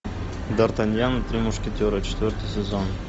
дартаньян и три мушкетера четвертый сезон